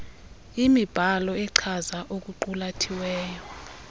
imibhalo echaza okuqulathiweyo